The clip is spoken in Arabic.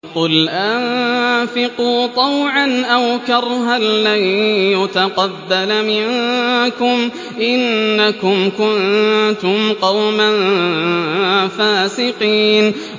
قُلْ أَنفِقُوا طَوْعًا أَوْ كَرْهًا لَّن يُتَقَبَّلَ مِنكُمْ ۖ إِنَّكُمْ كُنتُمْ قَوْمًا فَاسِقِينَ